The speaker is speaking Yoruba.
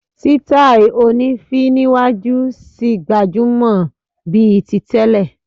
Sítáì oní féé níwájú ṣì gbajúmọ̀ bíi ti tẹ́lẹ̀.